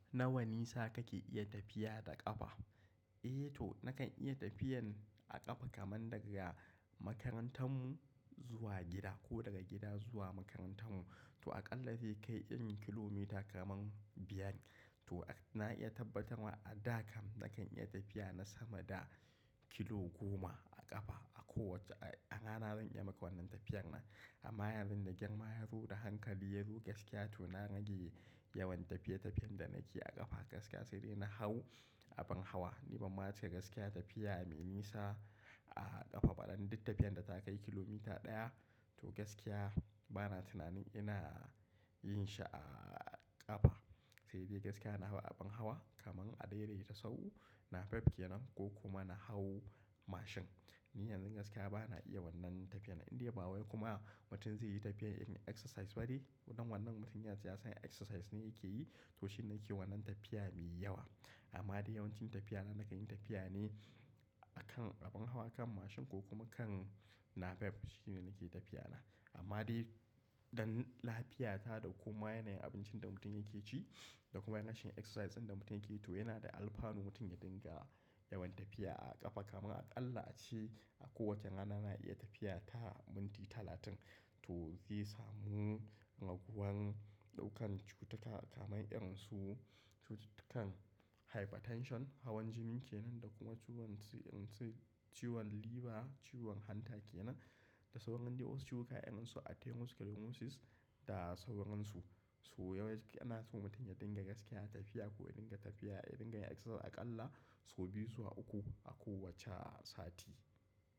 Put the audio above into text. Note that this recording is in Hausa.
Nawa nisa kake iya tafiya da ƙafa? Eh to nakan iya tafiyan a ƙafa kaman daga makarantar mu zuwa gida ko daga gida zuwa makarantar mu. To a ƙalla zai kai irin kilomita kaman biyar. To na iya tabbatarma a da kam nakan iya tafiya na sama da kilo goma a ƙafa. A kowacce, a rana zan iya maka wannan tafiyar nan. Amma yanzu da girma ya zo da hankali ya zo gaskiya to na rage yawan tafiye-tafiyen da nake a ƙafa gaskiya sai dai na hau abin hawa. Ni bamma ce gaskiya tafiya mai nisa a ƙafa, don duk tafiyan da ta kai kilomita ɗaya to gaskiya bana tunanin ina yin shi a ƙafa. Sai dai gaskiya na hau abin hawa kaman a daidaita sahu, napep ke nan ko kuma na hau mashin. Ni yanzu gaskiya bana iya wannan tafiya inde babu kuma mutum zai yi tafiyan irin exercise ba de. Wannan mutum yace ya san exercise ne yake yi to shine yake wannan tafiya mai yawa. Amma dai yawancin tafiya na nakan yi tafiya ne a kan abin hawa, a kan mashin ko kuma kan napep shine nake tafiya na. Amma dai don lafiyata da kuma yanayin abincin da mutum yake ci da kuma yanayin exercise ɗin da mutum yake to yana da alfanu mutum ya dinga yawan tafiya a ƙafa kaman a ƙalla a ce a kowacce rana na iya tafiya ta minti talatin. To zai samu raguwan ɗaukan cututtuka kamar irin su cututtukan hypertension, hawan jini ke nan da kuma ciwon irin su ciwon liver, ciwon hanta ke nan. Da sauran de cututtuka irin su arthemoscalemosis da sauran su. So yawan ci ana so mutum ya dinga gaskiya tafiya ko ya dinga tafiya, ya dinga exercise a ƙalla sau biyu zuwa uku a kowacce sati.